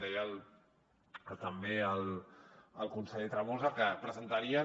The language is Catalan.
deia també el conseller tremosa que presentarien